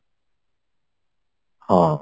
ହଁ